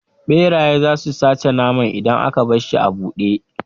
Ɓeraye zasu sace naman idan aka barshi a buɗe